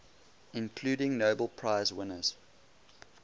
including nobel prize winners